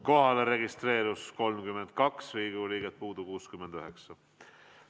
Kohalolijaks registreerus 32 Riigikogu liiget, puudub 69.